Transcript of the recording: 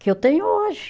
Que eu tenho hoje.